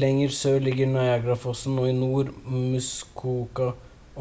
lenger sør ligger niagarafossen og i nord i muskoka